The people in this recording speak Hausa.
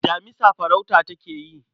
Damisa farauta take yi.